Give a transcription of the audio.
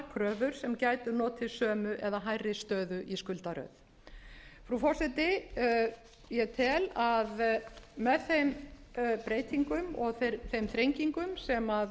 kröfur sem gætu notið sömu eða hærri stöðu í skuldaröð frú forseti ég tel að með þeim breytingum og þeim þrengingum sem